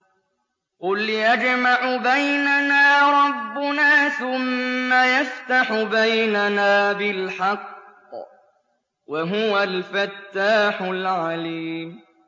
قُلْ يَجْمَعُ بَيْنَنَا رَبُّنَا ثُمَّ يَفْتَحُ بَيْنَنَا بِالْحَقِّ وَهُوَ الْفَتَّاحُ الْعَلِيمُ